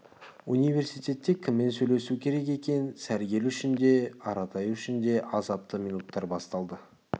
университетте кіммен сейлесу керек екен сәргел үшін де аратай үшін де азапты минуттар басталды